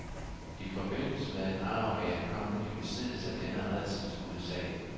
I forbindelse med en arv er jeg kommet i besiddelse af denne rædselsfulde sag.